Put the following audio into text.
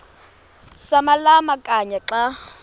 samalama kanye xa